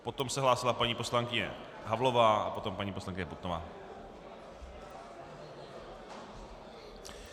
Potom se hlásila paní poslankyně Havlová a potom paní poslankyně Putnová.